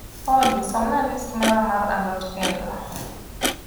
olly somna list mara mar a lot kendo